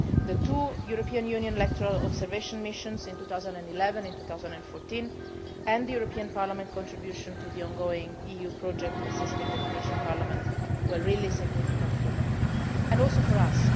impact. The two European Union electoral observation missions in 2011 and in 2014, and the European Parliament contribution to the ongoing EU project assisting the Tunisian parliament, were really significant for them, and also